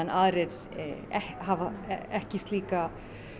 aðrir hafa ekki slíka